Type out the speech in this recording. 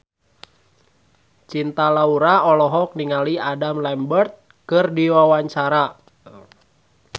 Cinta Laura olohok ningali Adam Lambert keur diwawancara